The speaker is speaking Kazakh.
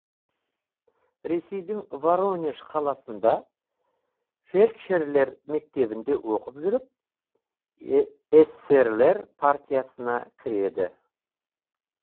ресейдің воронеж қаласында фельдшерлер мектебінде оқып жүріп эсерлер партиясына кіреді